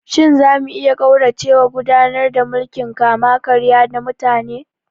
Shin za mu iya ƙauracewa gudanar da mulkin kama-karya na mutane?